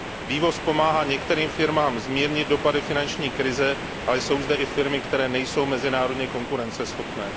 Vývoz pomáhá některým firmám zmírnit dopady finanční krize a jsou zde i firmy, které nejsou mezinárodně konkurenceschopné.